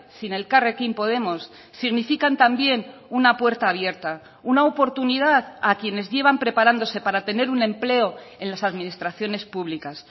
sin elkarrekin podemos significan también una puerta abierta una oportunidad a quienes llevan preparándose para tener un empleo en las administraciones públicas